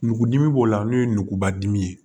Nugudimi b'o la n'o ye nuguba dimi ye